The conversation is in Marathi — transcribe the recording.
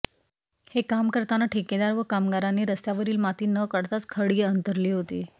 हे काम करताना ठेकेदार व कामगारांनी रस्त्यावरील माती न काढताच खडी अंथरली होती